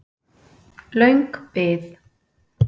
Löng bið